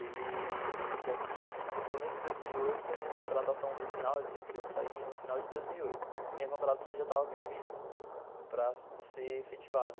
Ele já tinha, no começo de dois mil e oito, a minha contratação do final, que eu saía no final de dois mil e oito, minha contratação já estava prevista para ser efetivada.